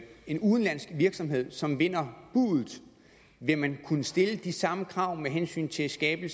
en udenlandsk virksomhed som vinder buddet vil man kunne stille de samme krav med hensyn til at skabe